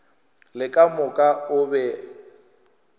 le ka moka o be